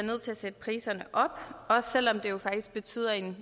nødt til at sætte priserne op også selv om det jo faktisk betyder en